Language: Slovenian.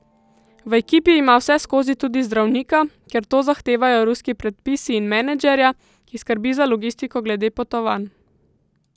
V ekipi ima vseskozi tudi zdravnika, ker to zahtevajo ruski predpisi, in menedžerja, ki skrbi za logistiko glede potovanj.